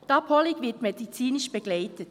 Die Abholung wird medizinisch begleitet.